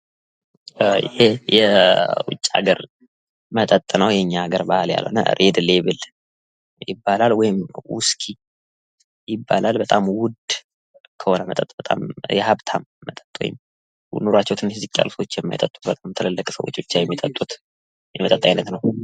ይህ የዉጭ ሃገር መጠጥ ነው የኛ ሃገር ያልሆነ ፤ ዉስኪ ይባላል ፤ በጣም ዉድ የሆነ ኑራቸው ዝቅ ያለ ሰዎች የማይጠጡት ፤ ባለሃብቶች ብቻ የሚጠጡት የመጠጥ አይነት ነው።